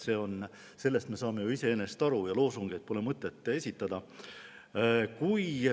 Sellest me saame ju iseenesest aru ja loosungeid pole mõtet esitada.